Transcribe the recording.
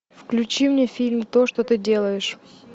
включи мне фильм то что ты делаешь